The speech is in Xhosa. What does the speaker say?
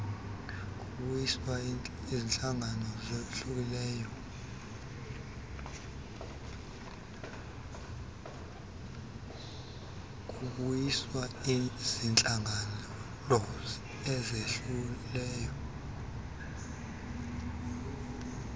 kubuyiswa ziintlawulo ezehlileyo